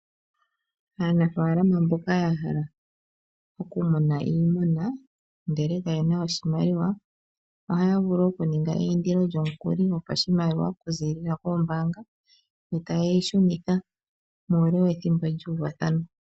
Aanafaalama mboka ya hala okumuna iimuna ndele kayena oshimaliwa ohaya vulu oku ninga eyindilo lyomukuli gopashimaliwa oku ziilila koombanga ndele etaye yi shunitha muule wethimbo ndoka lyuuvathanwa.